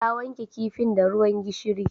Ta wanke kifin da ruwan gishiri